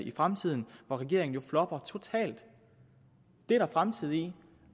i fremtiden hvor regeringen jo flopper totalt det er der fremtid i